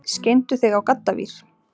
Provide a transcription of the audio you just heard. Skeindu þig á gaddavír!